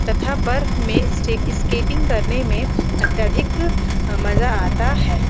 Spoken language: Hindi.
तथा बर्फ में स्टे इसकेटिंग करने में अत्यधिक अं मजा आता है।